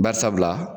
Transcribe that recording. Bari sabula